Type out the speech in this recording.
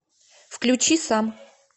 включи сам